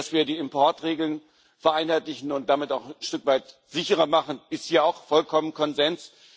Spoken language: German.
Dass wir die Importregeln vereinheitlichen und damit auch ein Stück weit sicherer machen, ist hier auch vollkommen Konsens.